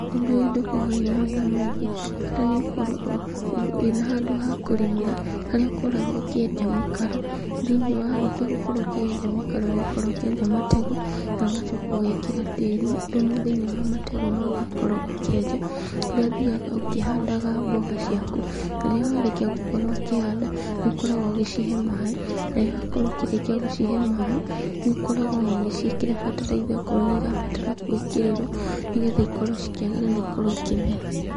Ũndũ ũyũ ndũkoroo wĩna wĩra mwĩngĩ, bata nĩũkorwo ũũ, ũ, wĩna handũ ha kũrĩmĩra harĩa ũkoragwo ũkĩenja mĩkaro thĩiniĩ. Na warĩkia gũkorwo ũkĩenja mĩkaro ũgakorwo ũkĩenja matego nogacoka ũgekĩra tĩrĩ, thumu thĩiniĩ wa matego mau wakowo ũkĩenja. Kũrĩa ũthiaga ũkĩhandaga mboga ciaku, na rĩrĩa warĩkia gũkorwo ũkĩhanda nĩũkoragwo ũgĩcihe maaĩ. Na rĩrĩa wakorwo ũkĩrĩkia gũcihe maaĩ nĩũkoragwo onogĩciĩkĩra bataraitha okoro nĩ irabatara gwĩkĩrĩrwo nĩgetha ikorwo cikĩagĩra na ikorwo ikĩmera.